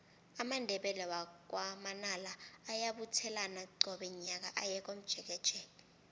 amandebele wakwa manala ayabuthelana qobe nyaka aye komjekejeke